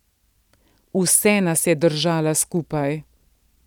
Vse nas je držala skupaj.